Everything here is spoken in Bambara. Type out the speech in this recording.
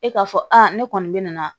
E k'a fɔ aa ne kɔni bɛ na